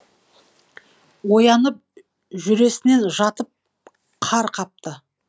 оянып жүресінен жатып қар қапты